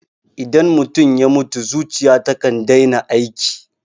Idan mutum ya mutu, zuciya takan daina aiki